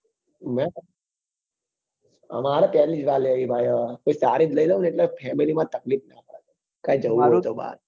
મે મારે પહેલી જ વાર લેવી છે કોઈ સારી જ લઇ લઉં ને એટલે family માં તકલીફ ના પડે કઈ જવું હોય તો બહાર